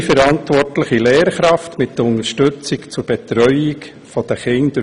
Es gibt eine verantwortliche Lehrkraft, die durch Klassenhilfen unterstützt wird.